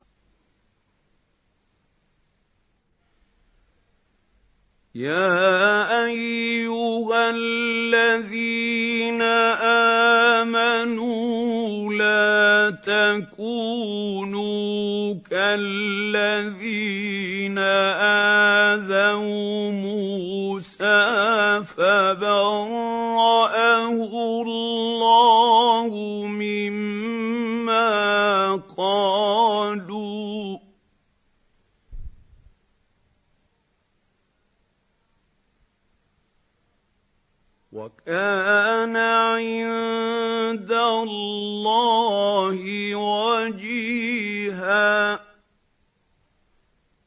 يَا أَيُّهَا الَّذِينَ آمَنُوا لَا تَكُونُوا كَالَّذِينَ آذَوْا مُوسَىٰ فَبَرَّأَهُ اللَّهُ مِمَّا قَالُوا ۚ وَكَانَ عِندَ اللَّهِ وَجِيهًا